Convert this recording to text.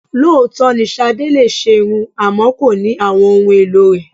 Lóòótọ́ ni Sadé lè ṣerun àmọ́ kò ní àwọn ohun èlò rẹ.